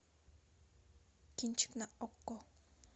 кинчик на окко